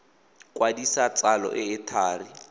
kwadisa tsalo e e thari